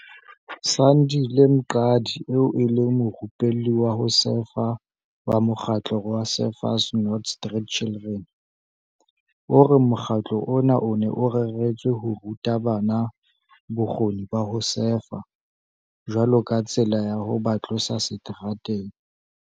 Sandile Mqadi eo e leng morupelli wa ho sefa wa mokgatlo wa Surfers Not Street Children, o re mokgatlo ona o ne o reretswe ho ruta bana bokgoni ba ho sefa jwalo ka tsela ya ho ba tlosa seterateng.